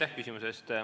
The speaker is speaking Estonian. Aitäh küsimuse eest!